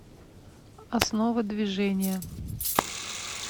основа движения